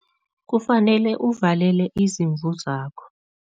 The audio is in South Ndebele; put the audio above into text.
Kufanele uvalele izimvu zakho.